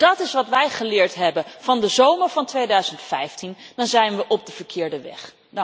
Als dat is wat wij geleerd hebben van de zomer van 2015, dan zijn we op de verkeerde weg.